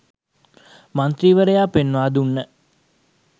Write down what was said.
මන්ත්‍රීවරයා පෙන්වා දුන්න